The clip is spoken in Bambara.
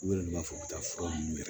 U yɛrɛ de b'a fɔ ka taa fura nunnu miri